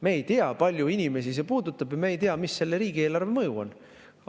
Me ei tea, kui paljusid inimesi see puudutab, ja me ei tea, mis selle riigieelarveline mõju on.